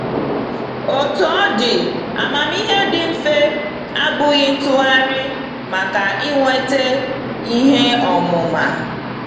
Otú ọ dị, amamihe dị mfe abụghị ntụgharị maka inweta ihe ọmụma.